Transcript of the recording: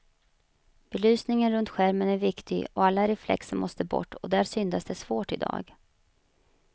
Belysningen runt skärmen är viktig och alla reflexer måste bort, och där syndas det svårt i dag.